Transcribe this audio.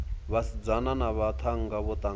vhasidzana na vhaṱhannga vho ṱangana